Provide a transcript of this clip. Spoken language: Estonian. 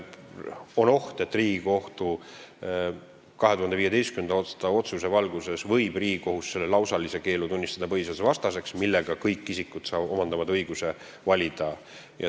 On oht, et Riigikohtu 2015. aasta otsuse valguses võib Riigikohus tunnistada põhiseadusvastaseks selle lausalise keelu ja nii omandavad kõik isikud õiguse valida.